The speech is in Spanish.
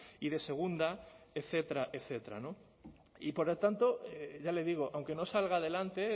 y de segunda etcétera etcétera y por lo tanto ya le digo aunque no salga adelante